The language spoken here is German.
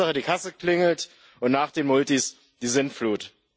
Hauptsache, die Kasse klingelt, und nach den Multis die Sintflut.